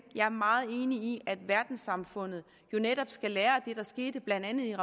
jeg er meget enig i at verdenssamfundet netop skal lære af det der skete blandt andet i